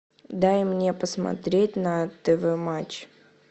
дай мне посмотреть на тв матч